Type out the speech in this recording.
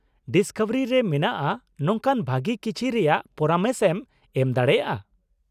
Discovery ᱨᱮ ᱢᱮᱱᱟᱜᱼᱟ ᱱᱚᱝᱠᱟᱱ ᱵᱷᱟᱹᱜᱤ ᱠᱤᱪᱷᱤ ᱨᱮᱭᱟᱜ ᱯᱚᱨᱟᱢᱮᱥ ᱮᱢ ᱮᱢ ᱫᱟᱲᱮᱭᱟᱜ-ᱟ ?